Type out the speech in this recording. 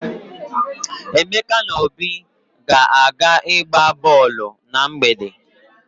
Emeka na Obi ga-aga ịgba bọọlụ na mgbede.